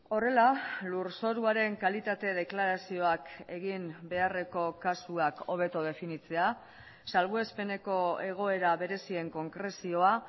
horrela lurzoruaren kalitate deklarazioak egin beharreko kasuak hobeto definitzea salbuespeneko egoera berezien konkrezioa